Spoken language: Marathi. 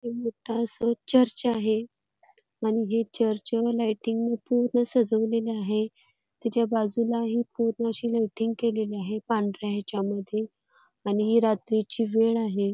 एक मोठं असं चर्च आहे आणि हे चर्च लायटिंगने सजवलेलं आहे त्याच्या बाजूला हि खूप अशी लायटिंग केलेली आहे पांढऱ्या ह्याच्या मध्ये आणि रात्रीची वेळ आहे.